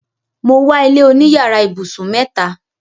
Mo wà ilẹ̀ oní yàrà ibusun mẹta.